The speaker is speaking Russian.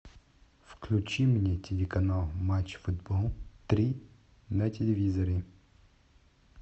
включи мне телеканал матч футбол три на телевизоре